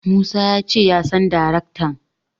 Musa ya ce ya san daraktan.